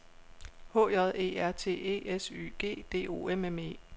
H J E R T E S Y G D O M M E